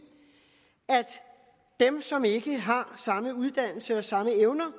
at dem som ikke har samme uddannelse og samme evner